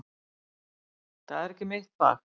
Það er ekki mitt fag